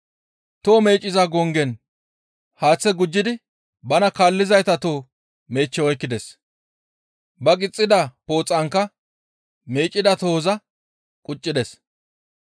Toho meecciza gonggen haaththe gujjidi bana kaallizayta toho meechche oykkides; ba gixxida pooxankka meeccida tohoza quccides.